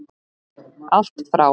Allt frá